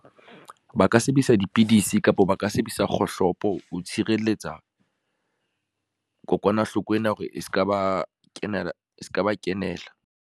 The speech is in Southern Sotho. Ba ka sebedisa dipidisi kapa ba ka sebedisa kgohlopo ho tshireletsa, kokwanahloko ena hore e ska ba kenela.